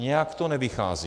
Nějak to nevychází.